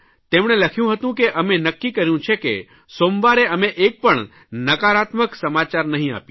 તેમણે કહ્યું હતું કે અમે નક્કી કહ્યું છે કે સોમવારે અમે એક પણ નકારાત્મક સમાચાર નહીં આપીએ